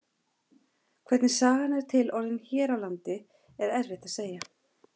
Hvernig sagan er til orðin hér á landi er erfitt að segja.